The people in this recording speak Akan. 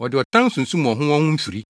wɔde ɔtan sunsum wɔn ho wɔn ho mfiri.